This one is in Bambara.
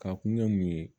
Ka kun ye mun ye